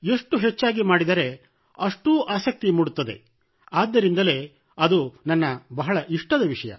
ಎಷ್ಟು ಹೆಚ್ಚಾಗಿ ಮಾಡಿದರೆ ಅಷ್ಟು ಆಸಕ್ತಿ ಮೂಡುತ್ತದೆ ಆದ್ದರಿಂದಲೇ ಅದು ನನ್ನ ಇಷ್ಟದ ವಿಷಯ